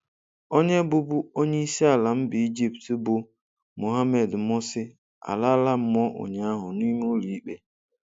Onye bụbu onye isiala mba Ejipt, bụ Mohammed Morsi alala mụọ ụnyahụ n'ime ụlọikpe.